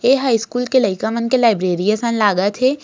ए हा स्कूल के लयका मन के लायब्रेरी असन लागत हे।